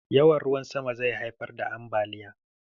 Yawan ruwan sama zai haifar da ambaliya.